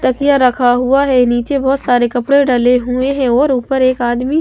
टकिया रखा हुआ है नीचे बहुत सारे कपड़े डले हुए हैं और ऊपर एक आदमी--